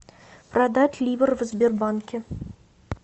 продать ливр в сбербанке